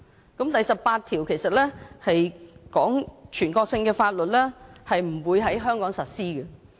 《基本法》第十八條指出全國性的法律不會在香港實施。